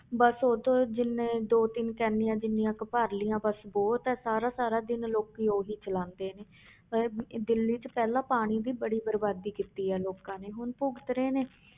ਬਸ ਉੱਥੋਂ ਜਿੰਨੇ ਦੋ ਤਿੰਨ ਕੈਨੀਆਂ ਜਿੰਨੀਆਂ ਕੁ ਭਰ ਲਈਆਂ ਬਸ ਬਹੁਤ ਹੈ ਸਾਰਾ ਸਾਰਾ ਦਿਨ ਲੋਕੀ ਉਹੀ ਚਲਾਉਂਦੇ ਨੇ ਇਹ ਦਿੱਲੀ 'ਚ ਪਹਿਲਾਂ ਪਾਣੀ ਦੀ ਬੜੀ ਬਰਬਾਦੀ ਕੀਤੀ ਆ ਲੋਕਾਂ ਨੇ ਹੁਣ ਭੁਗਤ ਰਹੇ ਨੇ